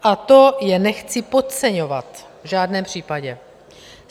A to je nechci podceňovat, v žádném případě.